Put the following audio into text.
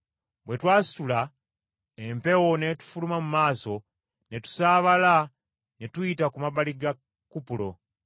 Bwe twasitula, empewo n’etufuluma mu maaso, ne tusaabala ne tuyita ku mabbali ga Kupulo.